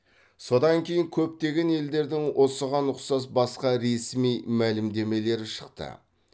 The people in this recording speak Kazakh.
содан кейін көптеген елдердің осыған ұқсас басқа ресми мәлімдемелері шықты